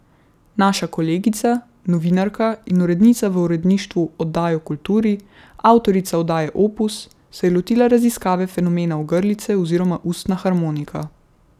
Naša kolegica, novinarka in urednica v Uredništvu oddaj o kulturi, avtorica oddaje Opus, se je lotila raziskave fenomena orglice oziroma ustna harmonika.